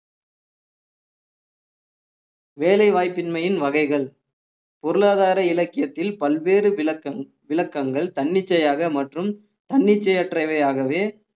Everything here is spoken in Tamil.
வேலைவாய்ப்பின்மையின் வகைகள் பொருளாதார இலக்கியத்தில் பல்வேறு விளக்கங்~ விளக்கங்கள் தன்னிச்சையாக மற்றும் தன்னிச்சையற்றவையாகவே